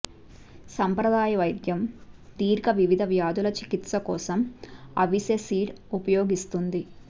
సాంప్రదాయ వైద్యం దీర్ఘ వివిధ వ్యాధుల చికిత్స కోసం అవిసె సీడ్ ఉపయోగిస్తోంది